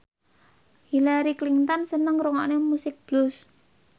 Hillary Clinton seneng ngrungokne musik blues